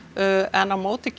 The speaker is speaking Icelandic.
en á móti